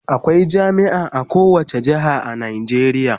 Akwai jami'a a kowane jihar a Najeriya